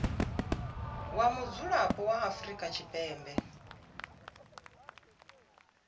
wa mudzulapo wa afrika tshipembe